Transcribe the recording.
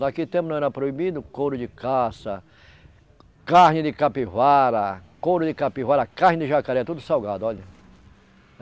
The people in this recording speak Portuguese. Naquele tempo não era proibido couro de caça, carne de capivara, couro de capivara, carne de jacaré, tudo salgado, olha.